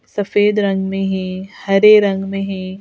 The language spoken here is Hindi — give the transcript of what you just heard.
सफेद रंग में है हरे रंग में है.